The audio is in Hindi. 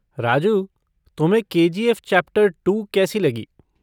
राजू, तुम्हें K G F chapter two कैसी लगी?